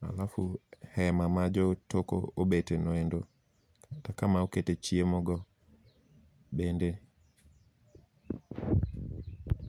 alafu hema ma jotoko obetenoendo. Kaka ma okete chiemo no, bende.